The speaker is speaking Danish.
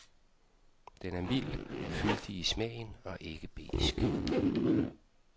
Den er mild, fyldig i smagen og ikke besk.